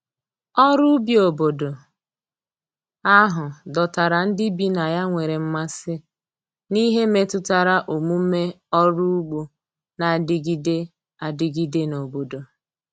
ọrụ ubi obodo ahụ dọtara ndi bi na ya nwere mmasi n'ihe metụtara omume ọrụ ụgbo n'adigide adigide n'obodo